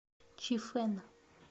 чифэн